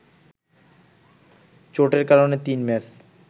চোটের কারণে তিন ম্যাচ